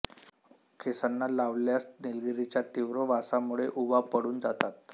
केसांना लावल्यास निलगिरीच्या तीव्र वासामुळे उवा पळून जातात